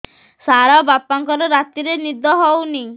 ସାର ବାପାଙ୍କର ରାତିରେ ନିଦ ହଉନି